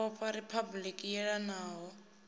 ya vhofha riphabuliki i yelanaho